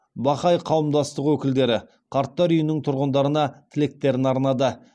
бахаи қауымдастығы өкілдері қарттар үйінің тұрғындарына тілектерін арнады